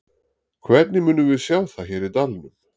Hvernig munum við sjá það hér í dalnum?